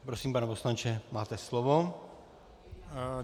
Prosím, pane poslanče, máte slovo.